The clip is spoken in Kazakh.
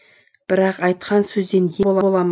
бірақ айтқан сөзден ем бола ма